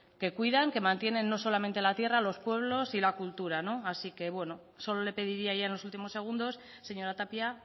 que cuidan que mantienen no solamente la tierra los pueblos y la cultura así que solo le pediría ya en los últimos segundos señora tapia